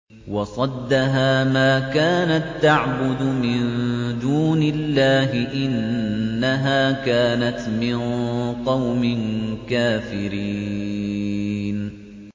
وَصَدَّهَا مَا كَانَت تَّعْبُدُ مِن دُونِ اللَّهِ ۖ إِنَّهَا كَانَتْ مِن قَوْمٍ كَافِرِينَ